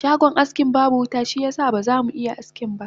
Shagon askin babu wuta shiyasa ba zamu iya askinba